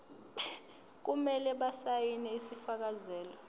kumele basayine isifakazelo